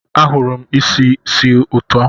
Ahụrụ m isi sì ụtọ.